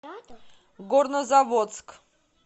горнозаводск